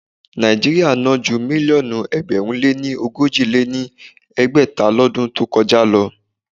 Nàíjíríà ná ju mílíọ̀nù ẹgbẹ̀rún lé ogójì lé ní ẹgbẹ́ta lọdún tó kọjá lọ.